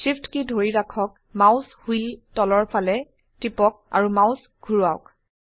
Shift কী ধৰি ৰাখক মাউস হুইল তলৰ ফালে টিপক আৰু মাউস ঘোৰাৱাওক